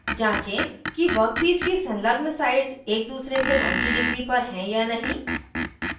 जाँचें कि वर्कपीस की संलग्न साइड्स एक दूसरे से 90 डिग्री पर हैं या नहीं